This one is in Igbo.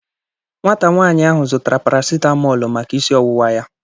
Nwata nwaanyị ahụ zụtara parasitamọlu maka isi ọwụwa ya.